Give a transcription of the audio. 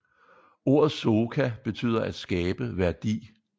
Ordet Soka betyder at skabe værdi